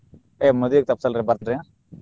ಏ ಮದ್ವಿಗ ತಪ್ಪ್ಸಲ್ರಿ ಬರ್ತೆ.